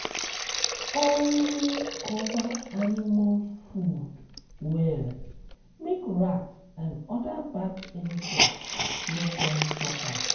always cover animal food um well make rat and other bad insects no come chop am.